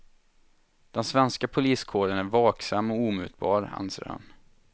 Den svenska poliskåren är vaksam och omutbar, anser han.